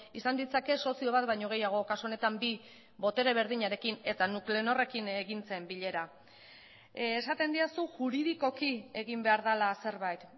izan ditzake sozio bat baino gehiago kasu honetan bi botere berdinarekin eta nuclenorrekin egin zen bilera esaten didazu juridikoki egin behar dela zerbait